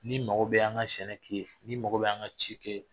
N'i mago bɛ an ka sɛnɛ k'i ye, n'i mago bɛ an ka ci k'i ye